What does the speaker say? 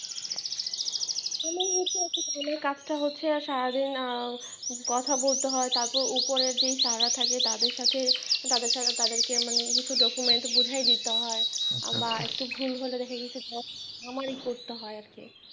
আমার কাজটা হচ্ছে সারাদিন কথা বলতে হয় তারপর উপরে যে sir রা থাকে তাদের সাথে তাদের তাদেরকে মানে কিছু document বোঝাই দিতে হয় বা একটু ভুল হলে দেখা গিয়েছে আমারি করতে হয় আরকি।